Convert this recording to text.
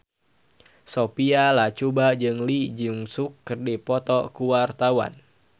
Sophia Latjuba jeung Lee Jeong Suk keur dipoto ku wartawan